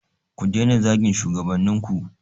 Ku daina zagin shugabannin ku.